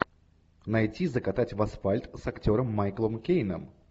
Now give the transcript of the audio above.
найти закатать в асфальт с актером майклом кейном